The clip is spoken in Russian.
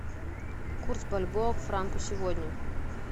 курс бальбоа к франку сегодня